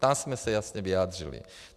Tam jsme se jasně vyjádřili.